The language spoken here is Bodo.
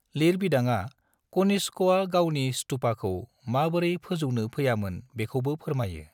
लिरबिदाङा कनिष्कआ गावनि स्तूपाखौ माबोरै फोजौनो फैयामोन बेखौबो फोरमायो।